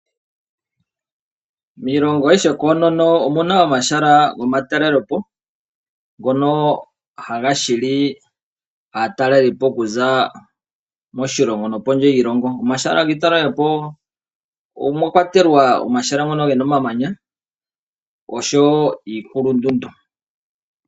Miilongo ayihe koonono omu na omahala gomatalelepo ngono haga hili aatalelipo kuza moshilongo nokondje yoshilongo. Momahala ngono gomatalelepo omwa kwatelwa ngono gena omamanya noondundu.